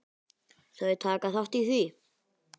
Þau taka þátt í því.